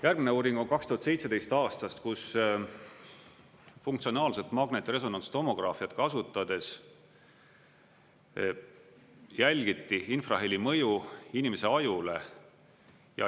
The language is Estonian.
Järgmine uuring on 2017. aastast, kus funktsionaalset magnetresonantstomograafiat kasutades jälgiti infraheli mõju inimese ajule.